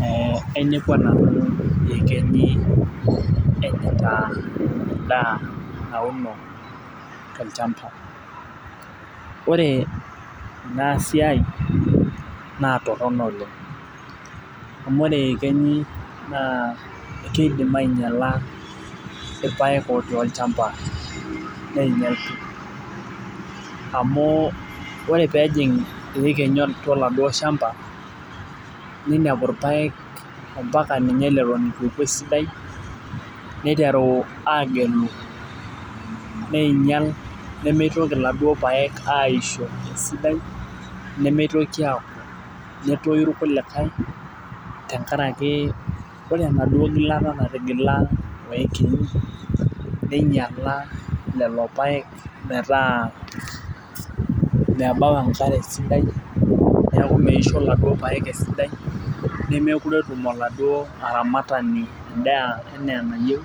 Ee ainepua nanu iyekenyi enyita edaa nauno, tolchampa. ore, Ina siai naa Toronto oleng amu ore yekenyi naa keidim aaingiala ilpaek otii olchampa neing'ial amu ore peeking iyekenyi oladuo shamba, nenepu irpaek mpaka ninye ileton eitu eku esidai, neiteru aagelu neing'ial nemeitoki oladuoo paek aisho esidai, nemeitoki aaku, netoyu irkulikae, tenkaraki ore enaduoo gilata natigila, oyekenyi, neing'iala lelo paek, metaa mebau enkare sidai. neeku Mwisho iladuok paek esidai. nemeekure etum oladuoo aramatani edaa anaa enayieu.